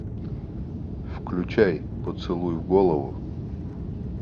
включай поцелуй в голову